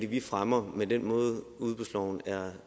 vi fremmer med den måde udbudsloven er